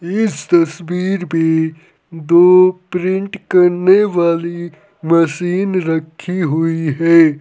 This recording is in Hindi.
इस तस्वीर में दो प्रिंट करने वाली मशीन रखी हुई है।